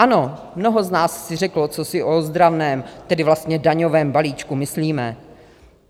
Ano, mnoho z nás si řeklo, co si o ozdravném, tedy vlastně daňovém balíčku myslíme.